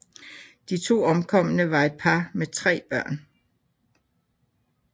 De to omkomne var et par med tre børn